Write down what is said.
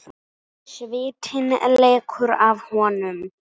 Svitinn lekur af honum.